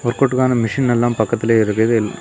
வொர்க்அவுட்கான machine எல்லாம் பக்கத்துல இருக்குது .